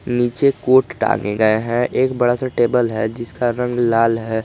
नीचे कोट टांगे गए हैं एक बड़ा सा टेबल है जिसका रंग लाल है।